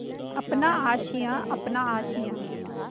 अपना आशियाँ अपना आशियाँ